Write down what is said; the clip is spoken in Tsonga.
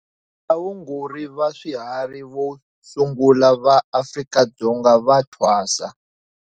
Vaongori va swihari vo sungula va Afrika-Dzonga va thwasa.